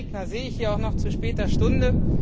Evelyn Regner sehe ich hier auch noch zu später Stunde.